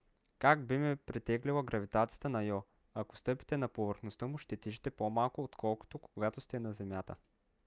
как би ме притеглила гравитацията на йо? ако стъпите на повърхността му ще тежите по - малко отколкото когато сте на земята